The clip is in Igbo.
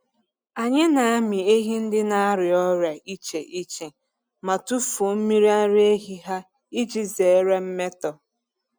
Anyị na-amị ehi ndị na-arịa ọrịa iche iche ma tufuo mmiri ara ehi ha iji zere mmetọ.